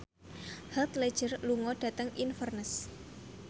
Heath Ledger lunga dhateng Inverness